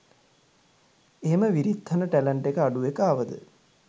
එහෙම විරිත්හන ටැලන්ට් එක අඩු එකාවද